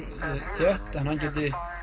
þétt og hann geti